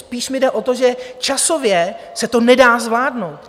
Spíš mi jde o to, že časově se to nedá zvládnout.